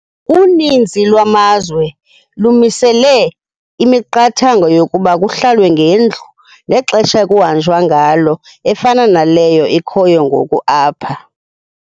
Uninzi lwamazwe lumisele imiqathango yokuba kuhlalwe ngendlu nexesha ekungahanjwa ngalo efana naleyo ikhoyo ngoku apha.